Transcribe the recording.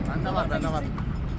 Məndə var, məndə var.